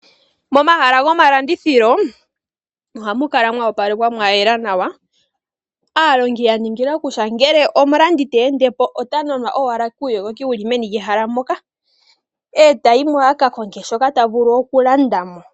Momahala gomalandithilo ohamu kala mwa opalekwa mwa yela nawa. Aalongi yaningila kutya ngele omulandi te ende po ota nanwa owala kuuyogoki wuli meni lyehala moka etayi mo a kakonge shoka ta vulu okulanda mo.